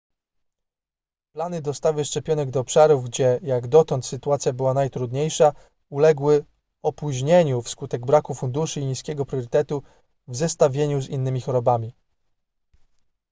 plany dostawy szczepionek do obszarów gdzie jak dotąd sytuacja była najtrudniejsza uległy opóźnieniu wskutek braku funduszy i niskiego priorytetu w zestawieniu z innymi chorobami